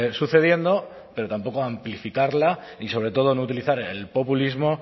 sucediendo pero tampoco amplificarla y sobre todo no utilizar el populismo